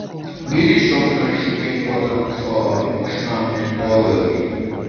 building strong friendships dey important for our emotional and mental well-being.